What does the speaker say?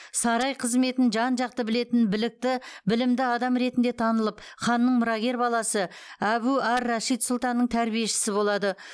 сарай қызметін жан жақты білетін білікті білімді адам ретінде танылып ханның мұрагер баласы әбу ар рашид сұлтанның тәрбиешісі болады